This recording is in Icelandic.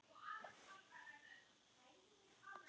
Hvað lifir snæugla lengi?